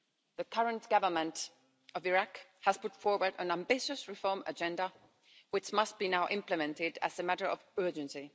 The current government of Iraq has put forward an ambitious reform agenda, which must now be implemented as a matter of urgency.